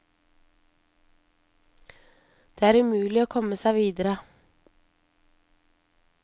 Der er det umulig å komme seg videre.